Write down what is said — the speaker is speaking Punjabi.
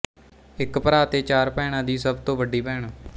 ਇੱਕ ਭਰਾ ਤੇ ਚਾਰ ਭੈਣਾਂ ਦੀ ਸਭ ਤੋਂ ਵੱਡੀ ਭੈਣ